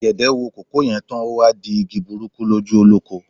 Ọ̀gẹ̀dẹ̀ wo kòkó yè tán, o wá di igi burúkú lójú olóko.